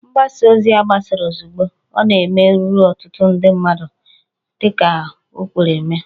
Mgbasa ozi a gbasara ozugbo ọ na-eme ruru ọtụtụ mmadụ dị ka o kwere mee